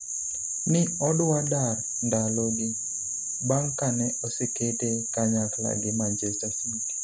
ni odwa dar ndalo gi, bang' kane osekete kanyakla gi Manchester City